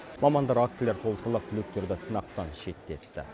мамандар актілер толтырылып түлектерді сынақтан шеттетті